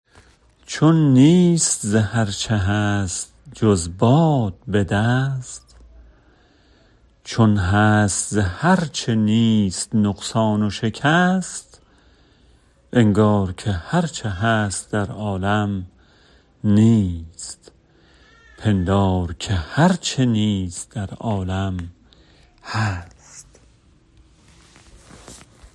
چون نیست ز هرچه هست جز باد به دست چون هست ز هرچه نیست نقصان و شکست انگار که هرچه هست در عالم نیست پندار که هرچه نیست در عالم هست